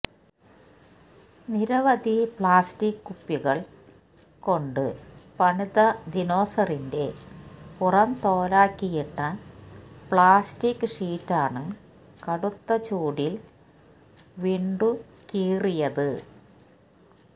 നിരവധി പ്ലാസ്റ്റിക് കുപ്പികള് കൊണ്ട് പണിത ദിനോസറിന്റെ പുറംതോലാക്കിയിട്ട പ്ലാസ്റ്റിക് ഷീറ്റാണ് കടുത്ത ചൂടില് വീണ്ടുകയറിയത്